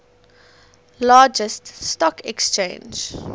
largest stock exchange